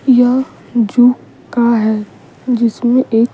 यह जूका है जिसमें एक।